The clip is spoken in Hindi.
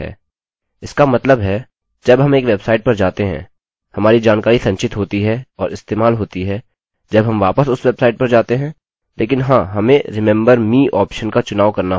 इसका मतलब है जब हम एक वेबसाइट पर जाते हैं हमारी जानकारी संचित होती है और इस्तेमाल होती है जब हम वापस उस वेबसाइट पर जाते है लेकिन हाँ हमें remember me ऑप्शन का चुनाव करना होगा